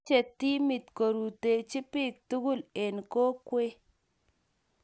mechhei timit korutechi biik togul eng kokwee